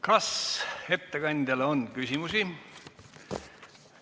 Kas ettekandjale on küsimusi?